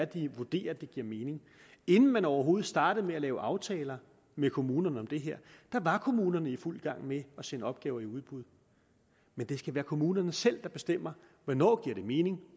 de vurderer at det giver mening inden man overhovedet startede med at lave aftaler med kommunerne om det her var kommunerne i fuld gang med at sende opgaver i udbud men det skal være kommunerne selv der bestemmer hvornår det giver mening og